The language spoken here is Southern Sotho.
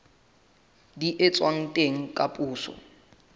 di etswang teng ka poso